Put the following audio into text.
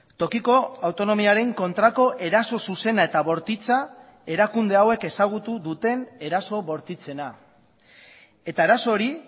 tokiko autonomiaren kontrako eraso zuzena eta bortitza erakunde hauek ezagutu duten eraso bortitzena eta arazo hori